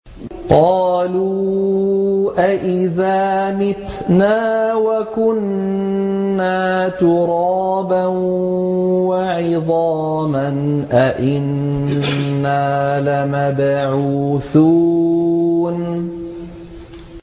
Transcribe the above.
قَالُوا أَإِذَا مِتْنَا وَكُنَّا تُرَابًا وَعِظَامًا أَإِنَّا لَمَبْعُوثُونَ